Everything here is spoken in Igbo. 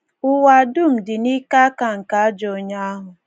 Ụwa dum dị n’ike aka nke ajọ onye ahụ.